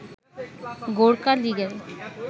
গোর্খা লিগের